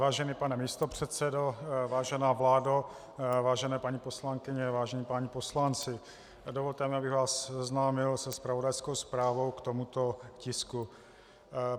Vážený pane místopředsedo, vážená vládo, vážení paní poslankyně, vážení páni poslanci, dovolte mi, abych vás seznámil se zpravodajskou zprávou k tomuto tisku.